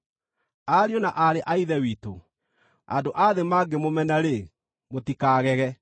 Ariũ na aarĩ a Ithe witũ, andũ a thĩ mangĩmũmena-rĩ, mũtikagege.